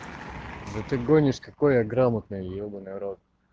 да ты гонишь какой я грамотный ебанный в рот